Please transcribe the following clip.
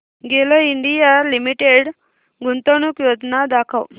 गेल India Limited गुंतवणूक योजना दाखव